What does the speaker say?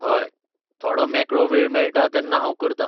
हय, थोडो मेकळो वेळ मेळटा तेन्ना हांव करतां.